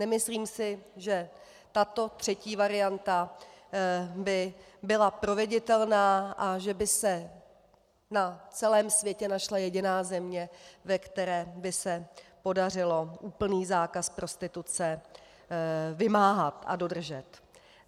Nemyslím si, že tato třetí varianta by byla proveditelná a že by se na celém světě našla jediná země, ve které by se podařilo úplný zákaz prostituce vymáhat a dodržet.